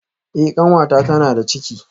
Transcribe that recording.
Eh kanwata tana da ciki